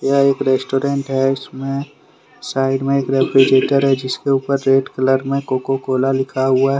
यह एक रेस्टोरेंट है इसमें साइड में एक रेफ्रिजरेटर है जिसके ऊपर रेड कलर में कोको कोला लिखा हुआ है।